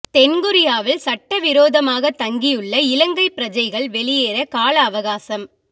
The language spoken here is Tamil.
தென் கொரியாவில் சட்ட விரோதமாக தங்கியுள்ள இலங்கை பிரஜைகள் வெளியேற கால அவகாசம்